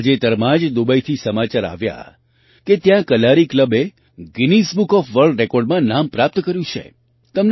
તાજેતરમાં જ દુબઈથી સમાચાર આવ્યા કે ત્યાં કલારી ક્લબે ગિનીઝ બુક ઑફ વર્લ્ડ રેકૉર્ડમાં નામ પ્રાપ્ત કર્યું છે